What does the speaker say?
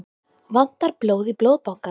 Vantar blóð í Blóðbankann